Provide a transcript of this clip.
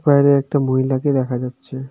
বাইরে একটা মহিলাকে দেখা যাচ্ছে.